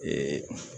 Ee